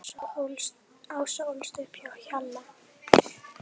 Ása ólst upp á Hjalla.